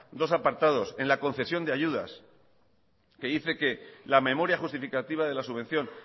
dos apartados en la concesión de ayudas que dice que la memoria justificativa de la subvención